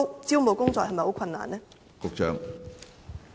招募工作是否很困難呢？